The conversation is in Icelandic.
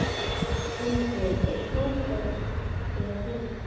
Tindur, er bolti á fimmtudaginn?